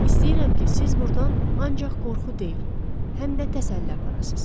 İstəyirəm ki, siz burdan ancaq qorxu deyil, həm də təsəlli aparasız.